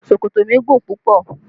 Ṣòkòtò mi gùn púpọ̀